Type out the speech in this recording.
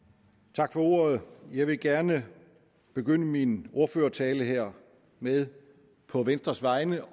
tak for ordet jeg vil gerne begynde min ordførertale her med på venstres vegne